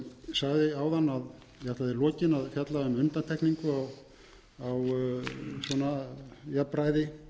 sagði áðan að ég ætlaði í lokin að fjalla um undantekningu á jafnræði